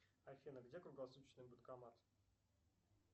афина где круглосуточный банкомат